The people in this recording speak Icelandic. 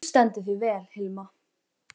Þú stendur þig vel, Hilma!